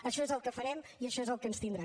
això és el que farem i a això és al que ens tindrà